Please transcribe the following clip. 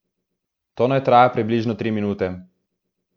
To naj traja približno tri minute.